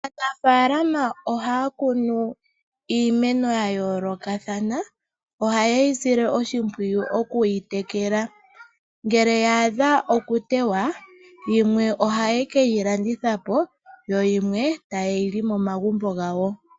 Aanafalama ohaya kunu iimeno ya yoolokathana , ohayeyi sile oshimpwiyu okuyi tekela. Ngele ya adha oku tewa ,yimwe ohaye keyi landitha po yo yimwe etaye yi li momagumbo gawo.